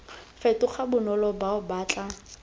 fetoga bonolo bao ba tla